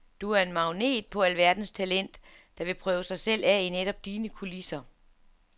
Du er en magnet på alverdens talent, der vil prøve sig selv af i netop dine kulisser.